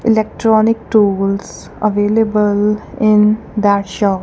electronic tools available in that shop.